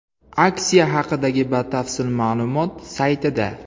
Aksiya haqidagi batafsil ma’lumot saytida.